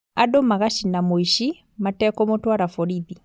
Andũ magacina mũici matekũmũtwara borithi